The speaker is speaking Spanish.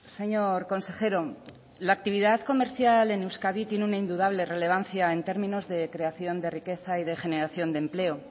señor consejero la actividad comercial en euskadi tiene una indudable relevancia en términos de creación de riqueza y de generación de empleo